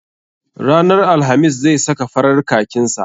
Ranar alhamis zai saka farar kakin sa.